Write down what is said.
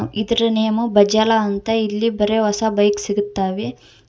ಇದರ ನೇಮ್ ಬಜಾಲ ಅಂತ ಇಲ್ಲಿ ಬರಿ ಹೊಸ ಬೈಕ್ ಸಿಗುತ್ತವೆ.